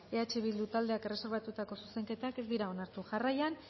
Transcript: eh bildu taldeak erreserbatutako zuzenketak ez dira onartu jarraian